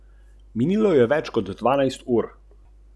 Bron je opazoval črno piko, ki se mu je približevala z vzhoda.